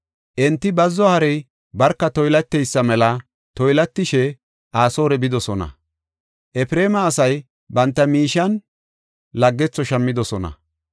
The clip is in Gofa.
Enti baddo harey barka toylateysa mela toylatishe Asoore bidosona. Efreema asay banta miishiyan laggetho shammidosona.